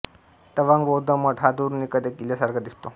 तवांग बौद्ध मठ हा दुरून एखाद्या किल्ल्यासारखा दिसतो